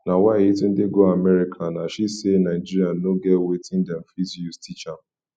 na why yetunde go america nah she say nigeria no get wetin dem fit use teach am